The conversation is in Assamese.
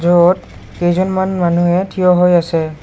য'ত কেইজনমান মানুহে থিয় হৈ আছে।